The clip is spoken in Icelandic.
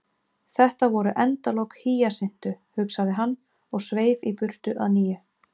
Þetta voru endalok Hýjasintu, hugsaði hann, og sveif í burtu að nýju.